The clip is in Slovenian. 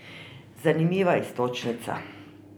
Zanimiva iztočnica.